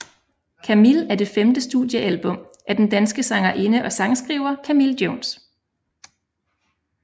Camille er det femte studiealbum af den danske sangerinde og sangskriver Camille Jones